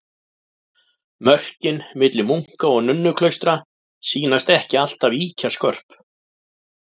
Mörkin milli munka- og nunnuklaustra sýnast ekki alltaf ýkja skörp.